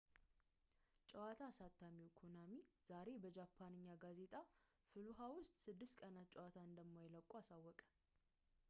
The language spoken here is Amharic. ጨዋታ አሳታሚው ኮናሚ ዛሬ በጃፓንኛ ጋዜጣ ፋሉሃ ውስጥ ስድስት ቀናት ጨዋታን እንደማይለቁት አሳወቀ